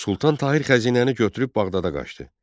Sultan Tahir xəzinəni götürüb Bağdada qaçdı.